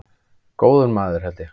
Góður maður held ég.